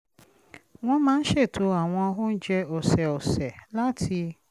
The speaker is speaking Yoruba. wọ́n máa ń ṣètò àwọn oúnjẹ ọ̀sẹ̀ọ̀sẹ̀ láti